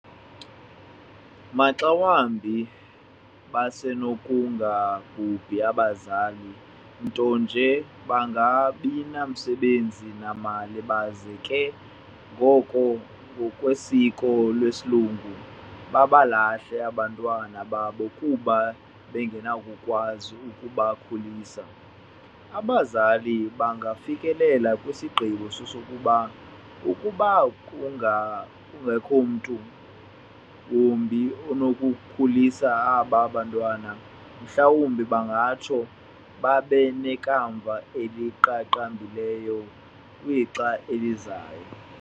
Maxa wambi basenokungabhubhi abazali, ntonje bangabinamisebenzi namali, baze ke ngoko ngokwesiko lesilungu, babalahle abantwana babo kuba bengenakukwazi ukubakhulisa. Abazali bangafikelela kwisigqibo sokokuba ukuba kungakho mntu wumbi onokubakhulisa aba bantwana, mhlawumbi bangatsho babenekamva eliqaqambileyo kwixa elizayo.